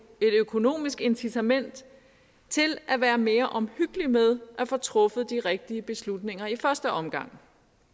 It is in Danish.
økonomisk incitament til at være mere omhyggelig med at få truffet de rigtige beslutninger i første omgang